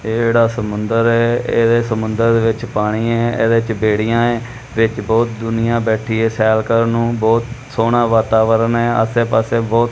ਇਹ ਜਿਹੜਾ ਸਮੁੰਦਰ ਏ ਇਹਦੇ ਸਮੁੰਦਰ ਵਿੱਚ ਪਾਣੀ ਏ ਇਹਦੇ ਚ ਬੇੜੀਆਂ ਏ ਵਿਚ ਬਹੁਤ ਦੁਨੀਆ ਬੈਠੀ ਏ ਸੈਰ ਕਰਨ ਨੂੰ ਬਹੁਤ ਸੋਹਣਾ ਵਾਤਾਵਰਨ ਏ ਆਸੇ ਪਾਸੇ ਬਹੁਤ--